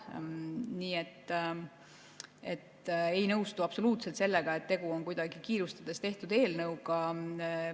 Nii et ma ei nõustu absoluutselt sellega, nagu tegu oleks kuidagi kiirustades tehtud eelnõuga.